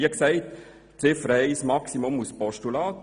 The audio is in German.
Ziffer 1 unterstützen wir maximal als Postulat.